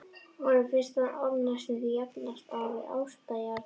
Honum finnst þessi orð næstum því jafnast á við ástarjátningu.